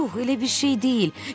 Yox, elə bir şey deyil.